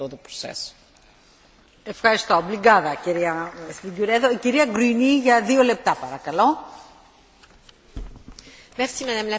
Madame la Présidente, chers collègues, aujourd'hui le Parlement européen envoie un signal fort aux femmes qui aident leur conjoint dans leur activité professionnelle d'indépendant.